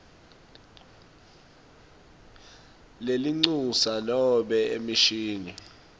lelincusa nobe emishini